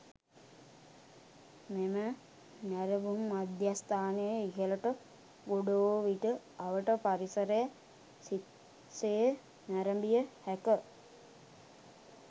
මෙම නැරඹුම් මධ්‍යස්ථානයේ ඉහළට ගොඩ වූ විට අවට පරිසරය සිත් සේ නැරඹිය හැක.